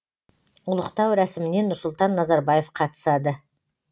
ұлықтау рәсіміне нұрсұлтан назарбаев қатысады